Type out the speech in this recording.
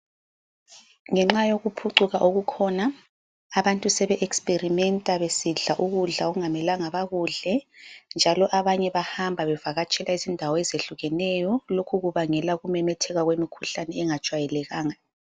Ngenxa yokuphucuka okukhona, abantu sebe experimenter besidla ukudla okungamelanga bakudle, njalo abanye bahamba bevakatshela izindawo ezehlukeneyo. Lokhu kubangel ukumemetheka kwemikhuhlane engajwayelekanga.